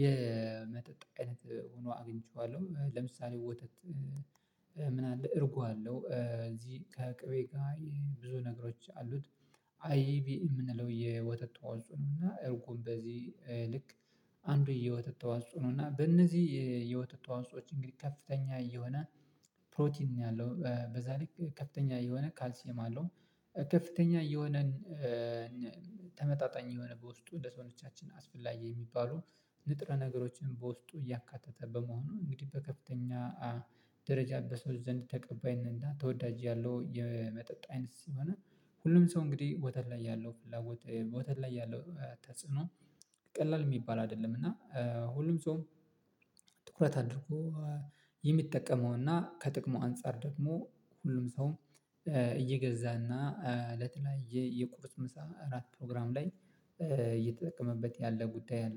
የመጠጥ አይነት ሆኖ አግኝቼዋለሁ ለምሳሌ ወተት። ምን አለ እርጓ አለው እዚህ ከቅቤ ጋር ብዙ ነገሮች አሉት። አይብ የምንለው የወተት አውጥቶ ነው እና እርጉም በዚህ ልክ አንዱ የህይወት ተዋጽኦ ነው። እና በእነዚህ የህይወት ተዋጽኦዎች እንግዲህ ከፍተኛ የሆነ ፕሮቲን ነው ያለው በዛ ልክ ከፍተኛ የሆነ ካልሲም አለው። ከፍተኛ የሆነን ተመጣጣኝ የሆነ በውስጡ እንደ ሰው ነች አስፈላጊ የሚባሉ ንጥረ ነገሮችን በውስጡ እያካተተ በመሆኑ እንግዲህ በከፍተኛ ደረጃ በሰው ዘንድ ተቀባይነት ተወዳጅያለሁ የመጠጥ አይነት ሲሆን። ሁሉም ሰው እንግዲህ ወተት ላይ ያለው ፍላጎት ወተት ላይ ያለው ተጽዕኖ ቀላል የሚባል አይደለም እና። ሁሉም ጾም ትኩረት አድርጎ የሚጠቀመውና ከጥቅሙ አንፃር ደግሞ ሁሉም ሰውም እየገዛና ለተለያየ የቁርስ ምሳ አራት ፕሮግራም ላይ እየተጠቀመበት ያለ ጉዳይ አለ